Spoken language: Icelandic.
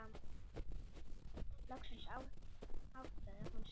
Loksins áttaði hún sig.